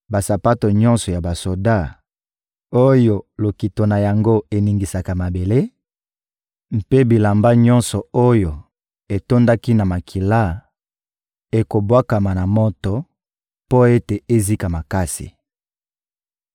Basapato nyonso ya basoda oyo lokito na yango eningisaka mabele, mpe bilamba nyonso oyo etondaki na makila, ekobwakama na moto mpo ete ezika makasi.